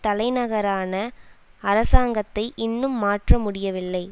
தலைநகரான அரசாங்கத்தை இன்னும் மாற்ற முடியவில்லை